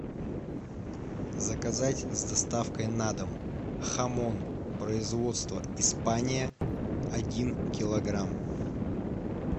заказать с доставкой на дом хамон производство испания один килограмм